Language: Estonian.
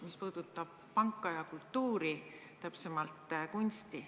See puudutab panka ja kultuuri, täpsemalt kunsti.